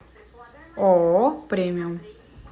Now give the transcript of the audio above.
ооо премиум